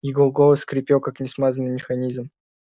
его голос скрипел как несмазанный механизм